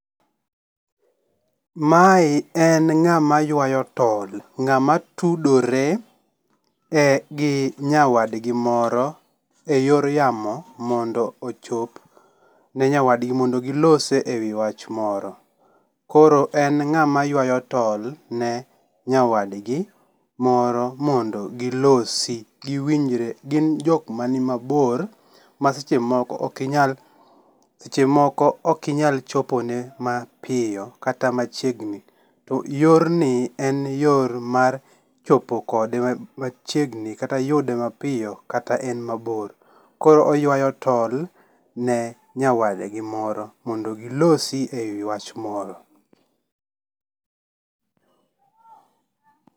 Mae en ng'ama ywayo tol, ng'ama tudore e gi nyawadgi moro eyor yamo mondo ochop ne nyawadgi mondo gilose ewi wach moro. Koro en ng'ama ywayo tol ne nyawadgi moro mondo gilosi, giwinjre, gin jokma ni mabor ma seche moko ok inyal seche moko ok inyal chopo ne mapiyo kata machiegni. To yorni en yor mar chopo kode ma machiegni kata yude mapiyo kata en mabor koro oywayo tol ne nyawadgi moro mondo gilosi ewi wach moro